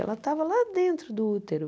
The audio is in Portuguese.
Ela estava lá dentro do útero.